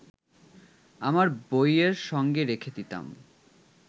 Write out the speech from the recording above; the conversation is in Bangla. আমার বইয়ের সঙ্গে রেখে দিতাম